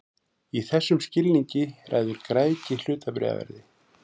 Í þessum skilningi ræður græðgi hlutabréfaverði.